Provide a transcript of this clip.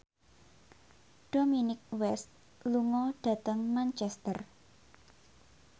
Dominic West lunga dhateng Manchester